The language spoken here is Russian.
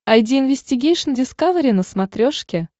айди инвестигейшн дискавери на смотрешке